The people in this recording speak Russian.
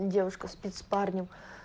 девушка спит с парнем